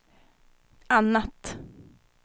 annat